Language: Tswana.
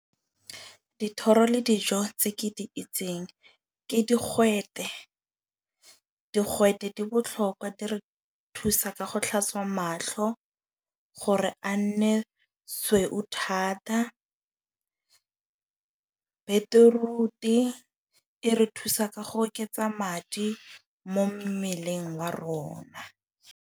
Dithoro le dijo tse ke di itseng ke digwete. Digwete di botlhokwa di re thusa ka go tlhatswa mahlo, gore a nne sweu thata. Beetroot-e e re thusa ka go oketsa madi mo mmeleng wa rona.